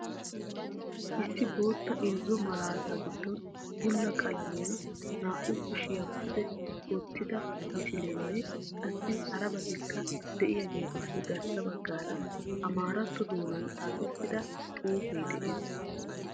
Issi bootta irzzo maalata giddon bulla qalamiya naa"u kushiyaa pude wottida misileenne qassi harabatikka de'iyaageetuppe garssa baggaara amaaratto doonan xaafettida xuufe de'ees.